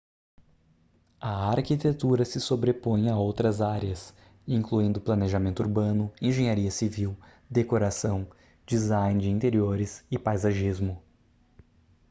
a arquitetura se sobrepõe a outras áreas incluindo planejamento urbano engenharia civil decoração design de interiores e paisagismo